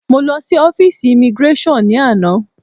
Mọ lọ sí ọ́físì imigráṣọ̀n ni àná.